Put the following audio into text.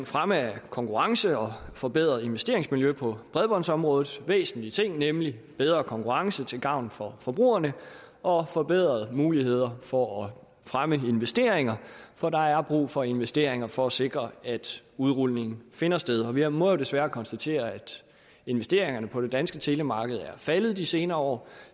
fremme af konkurrence og forbedret investeringsmiljø på bredbåndsområdet det væsentlige ting nemlig bedre konkurrence til gavn for forbrugerne og forbedrede muligheder for at fremme investeringer for der er brug for investeringer for at sikre at udrulning finder sted og vi må jo desværre konstatere at investeringerne på det danske telemarked er faldet de senere år